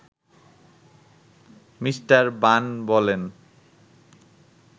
Me. Ban বলেন